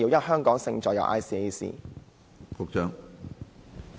"香港勝在有 ICAC"。